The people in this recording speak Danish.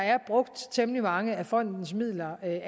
er brugt temmelig mange af fondens midler